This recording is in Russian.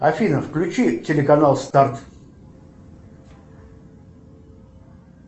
афина включи телеканал старт